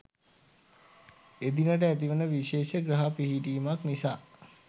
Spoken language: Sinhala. එදිනට ඇතිවන විශේෂ ග්‍රහ පිහිටීමක් නිසා